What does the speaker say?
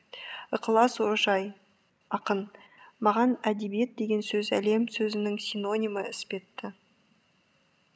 ықылас ожаи ақын маған әдебиет деген сөз әлем сөзінің синонимі іспетті